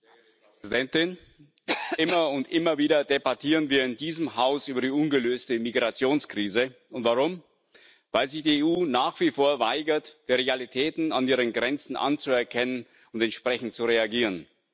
Frau Präsidentin! Immer und immer wieder debattieren wir in diesem Haus über die ungelöste Migrationskrise. Und warum? Weil sich die EU nach wie vor weigert, die Realitäten an ihren Grenzen anzuerkennen und entsprechend zu reagieren.